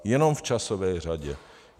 Jenom v časové řadě.